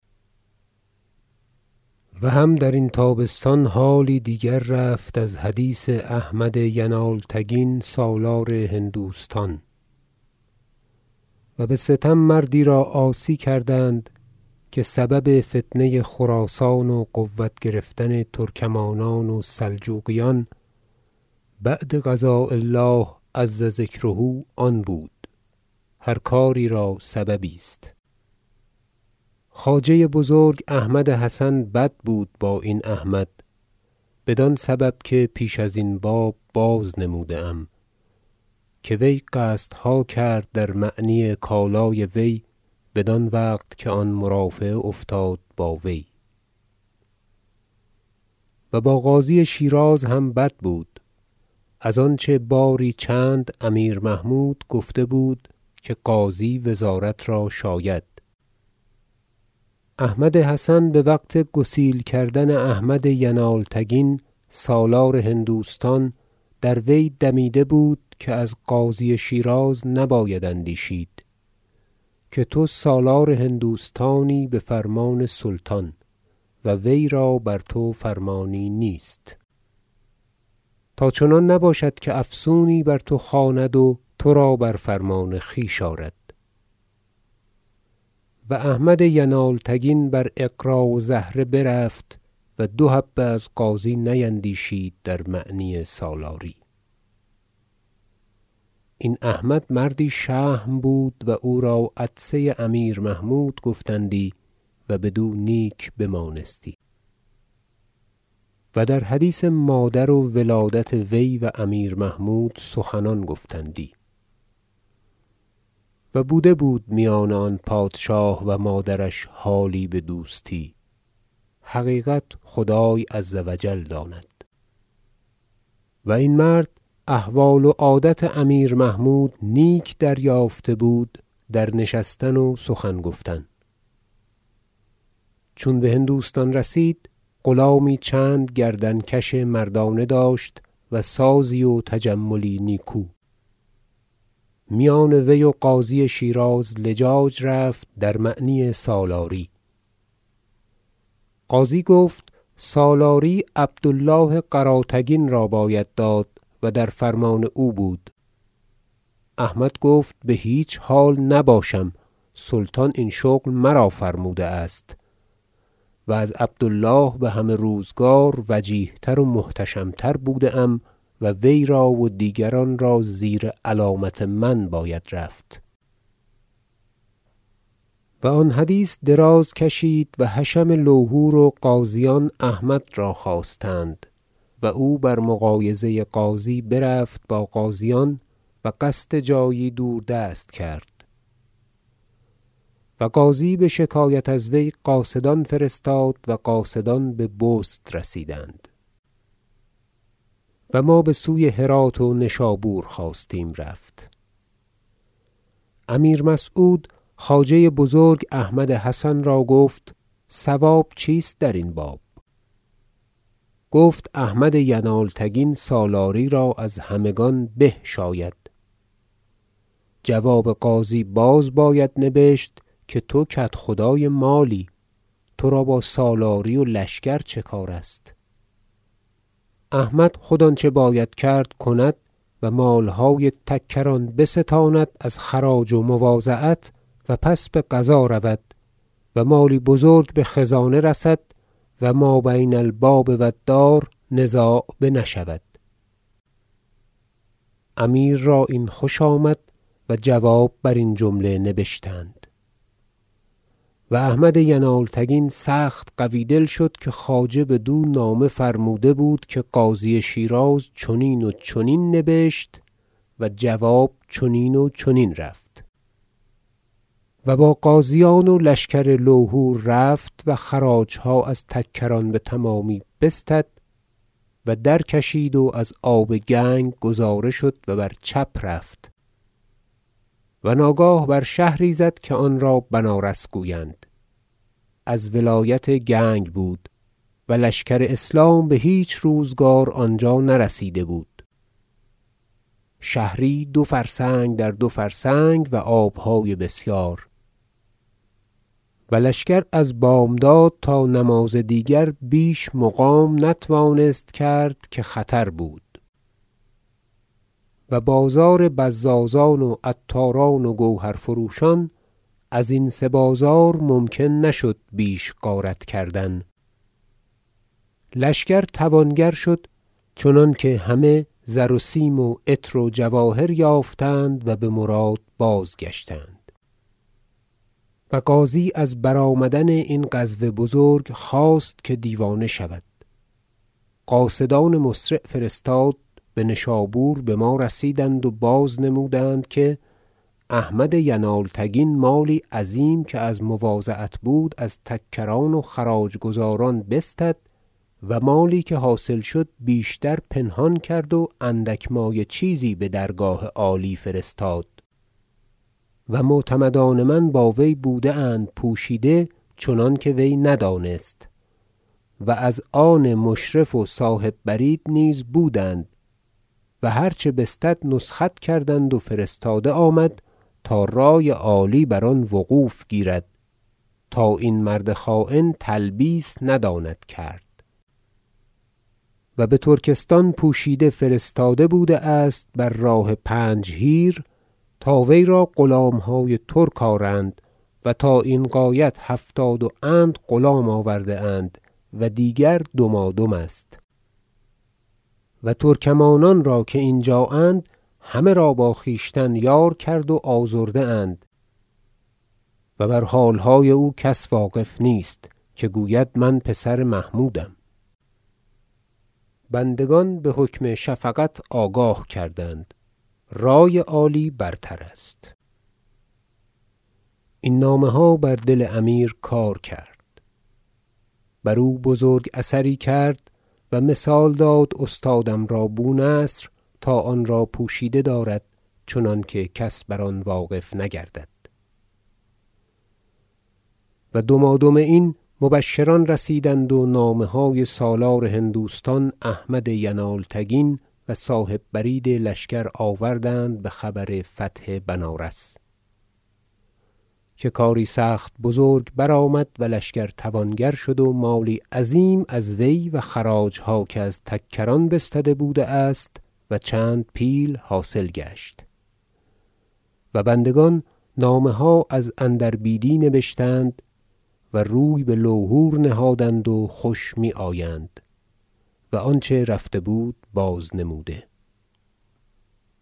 و هم درین تابستان حالی دیگر رفت از حدیث احمد ینالتگین سالار هندوستان و بستم مردی را عاصی کردند که سبب فتنه خراسان و قوت گرفتن ترکمانان و سلجوقیان بعد قضاء الله عز ذکره آن بود هر کاری را سببی است خواجه بزرگ احمد حسن بد بود با این احمد بدان سبب که پیش ازین بازنموده ام که وی قصدها کرد در معنی کالای وی بدان وقت که آن مرافعه افتاد با وی و با قاضی شیراز هم بد بود از آنچه باری چند امیر محمود گفته بود که قاضی وزارت را شاید احمد حسن بوقت گسیل کردن احمد ینالتگین سالار هندوستان در وی دمیده بود که از قاضی شیراز نباید اندیشید که تو سالار هندوستانی بفرمان سلطان و وی را بر تو فرمانی نیست تا چنان نباشد که افسونی بر تو خواند و ترا بر فرمان خویش آرد و احمد ینالتگین بر اغرا و زهره برفت و دو حبه از قاضی نیندیشید در معنی سالاری این احمد مردی شهم بود و او را عطسه امیر محمود گفتندی و بدو نیک بمانستی و در حدیث مادر و و ولادت وی و امیر محمود سخنان گفتندی و بوده بود میان آن پادشاه و مادرش حالی بدوستی حقیقت خدای عز و جل داند و این مرد احوال و عادة امیر محمود نیک دریافته بود در نشستن و سخن گفتن چون بهندوستان رسید غلامی چند گردن کش مردانه داشت و سازی و تجملی نیکو میان وی و قاضی شیراز لجاج رفت در معنی سالاری قاضی گفت سالاری عبد الله قراتگین را باید داد و در فرمان او بود احمد گفت بهیچ حال نباشم سلطان این شغل مرا فرموده است و از عبد الله بهمه روزگار وجیه تر و محتشم تر بوده ام و وی را و دیگران را زیر علامت من باید رفت و آن حدیث دراز کشید و حشم لوهور و غازیان احمد را خواستند و او بر مغایظه قاضی برفت با غازیان و قصد جایی دوردست کرد و قاضی بشکایت از وی قاصدان فرستاد و قاصدان ببست رسیدند و ما بسوی هرات و نشابور خواستیم رفت امیر مسعود خواجه بزرگ احمد حسن را گفت صواب چیست درین باب گفت احمد ینالتگین سالاری را از همگان به شاید جواب قاضی باز باید نبشت که تو کدخدای مالی ترا با سالاری و لشکر چه کار است احمد خود آنچه باید کرد کند و مالهای تکران بستاند از خراج و مواضعت و پس به غزا رود و مالی بزرگ بخزانه رسد و ما بین الباب و الدار نزاع بنشود امیر را این خوش آمد و جواب برین جمله نبشتند فتح بنارس و احمد ینالتگین سخت قوی دل شد که خواجه بدو نامه فرموده بود که قاضی شیراز چنین و چنین نبشت و جواب چنین و چنین رفت و با غازیان و لشکر لوهور رفت و خراجها از تکران بتمامی بستد و درکشید و از آب گنگ گذاره شد و بر چپ رفت و ناگاه بر شهری زد که آنرا بنارس گویند از ولایت گنگ بود و لشکر اسلام بهیچ روزگار آنجا نرسیده بود شهری دو فرسنگ در دو فرسنگ و آبهای بسیار و لشکر از بامداد تا نماز دیگر بیش مقام نتوانست کرد که خطر بود و بازار بزازان و عطاران و گوهرفروشان ازین سه بازار ممکن نشد بیش غارت کردن لشکر توانگر شد چنانکه همه زر و سیم و عطر و جواهر یافتند و بمراد بازگشتند و قاضی از برآمدن این غزو بزرگ خواست که دیوانه شود قاصدان مسرع فرستاد بنشابور بما رسیدند و بازنمودند که احمد ینالتگین مالی عظیم که از مواضعت بود از تکران و خراج گزاران بستد و مالی که حاصل شد بیشتر پنهان کرد و اندک مایه چیزی بدرگاه عالی فرستاد و معتمدان من با وی بوده اند پوشیده چنانکه وی ندانست و از آن مشرف و صاحب برید نیز بودند و هر چه بستد نسخت کردند و فرستاده آمد تا رای عالی بر آن وقوف گیرد تا این مرد خاین تلبیس نداند کرد و بترکستان پوشیده فرستاده بوده است بر راه پنجهیر تا وی را غلامهای ترک آرند و تا این غایت هفتاد و اند غلام آورده اند و دیگر دمادم است و ترکمانان را که اینجااند همه را با خویشتن یار کرد و آزرده اند و بر حالهای او کس واقف نیست که گوید من پسر محمودم بندگان بحکم شفقت آگاه کردند رای عالی برتر است این نامه ها بر دل امیر کار کرد و بزرگ اثری کرد و مثال داد استادم را بونصر تا آنرا پوشیده دارد چنانکه کس بر آن واقف نگردد و دمادم این مبشران رسیدند و نامه های سالار هندوستان احمد ینالتگین و صاحب برید لشکر آوردند بخبر فتح بنارس که کاری سخت بزرگ برآمد و لشکر توانگر شد و مالی عظیم از وی و خراجها که از تکران بستده بوده است و چند پیل حاصل گشت و بندگان نامه ها از اندر بیدی نبشتند و روی بلوهور نهادند و خوش میآیند و آنچه رفته بود بازنموده